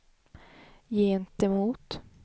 gentemot